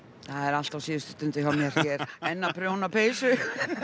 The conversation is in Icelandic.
það er allt á síðustu stundu hjá mér ég er enn að prjóna peysu